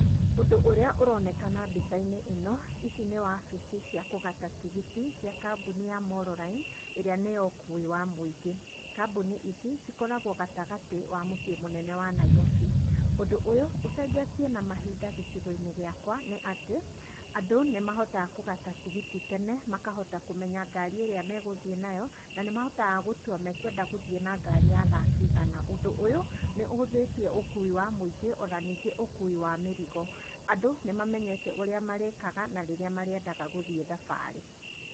Ũndũ ũrĩa ũronekana mbica-inĩ ĩno ici nĩ wabici cia kũgata tigiti cia kambuni ya Molo line ĩrĩa nĩ ya ũkui wa mũingĩ, kambuni ici cikoragwo gatagatĩ ga mũciĩ mũnene wa Nairobi, ũndũ ũyũ ũcenjetie na mahinda gĩcigo-inĩ gĩakwa nĩ atĩ andũ nĩ mahotaga kũgata tigiti tene makahota kũmenya ngari ĩrĩa megũthiĩ nayo na nĩ mahotaga gũtua mekwenda gũthiĩ na ngari ya thaa cigana, ũndũ ũyũ nĩ ũhũthĩtie ũkui wa mũingĩ ona ningĩ ũkui wa mĩrigo, andũ nĩ mamenyete ũrĩa marĩkaga na rĩrĩa marĩendaga gũthiĩ thabarĩ.